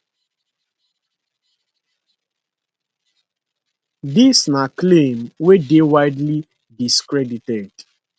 dis na claim wey dey widely discredited